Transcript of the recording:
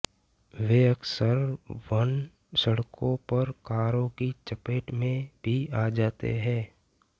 वे अक्सर वन सड़कों पर कारों की चपेट में भी आ जाते हैं